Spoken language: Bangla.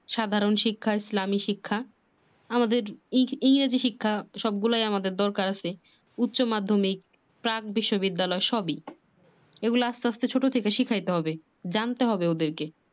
সাধারণ শিক্ষা ইসলামী শিক্ষা আমাদের ইংরেজি শিক্ষা সব গুলাই আমাদের দরকার আছে। উচ্চ মাধ্যমিক প্রাক বিশ্ববিদ্যালয় সবই এগুলা আস্তে আস্তে ছোট থেকে শিখাইতে হবে।